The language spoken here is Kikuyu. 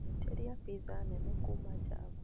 Njiteria pizza nene kuuma Java.